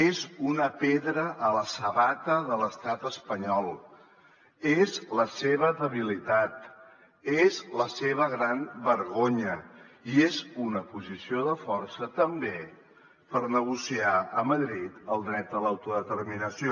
és una pedra a la sabata de l’estat espanyol és la seva debilitat és la seva gran vergonya i és una posició de força també per negociar a madrid el dret a l’autodeterminació